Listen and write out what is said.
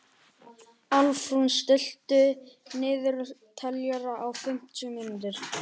Álfrún, stilltu niðurteljara á fimmtíu mínútur.